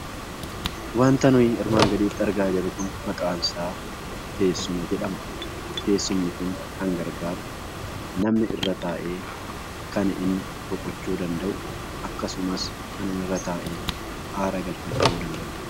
Wanta nuti armaan gaditti argaa jirru kun maqaan isaa teessuma jedhama. Teessumni kun kan gargaaru namni irra taa'ee kan inni boqochuu danda'udha. Akkasumas kan inni irra taa'ee aara galfachuu danda'udha.